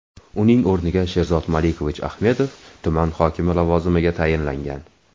Uning o‘rniga Sherzod Malikovich Ahmedov tuman hokimi lavozimiga tayinlangan.